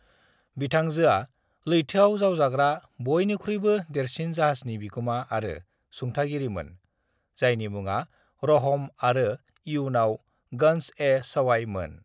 "बिथांजोआ लैथोआव जावजाग्रा बयनिख्रुयबो देरसिन जाहाजनि बिगुमा आरो सुंथागिरिमोन, जायनि मुङा रहम आरो इयुनाव गंज-ए-सवाई मोन।"